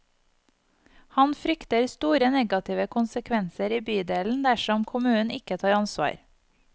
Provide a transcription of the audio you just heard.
Han frykter store negative konsekvenser i bydelen dersom kommunen ikke tar ansvar.